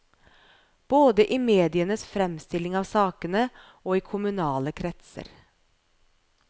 Både i medienes fremstilling av sakene, og i kommunale kretser.